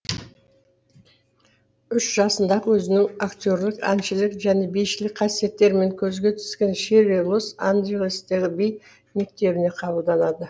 үш жасында ақ өзінің актерлық әншілік және бишілік қасиеттерімен көзге түскен ширли лос анджелестегі би мектебіне қабылданады